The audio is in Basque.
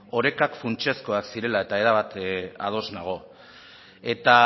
orekak funtsezkoak zirela eta erabat ados nago eta